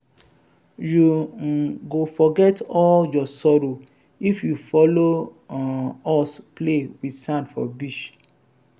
you um go forget all your sorrow if you folo um us play wit sand for beach.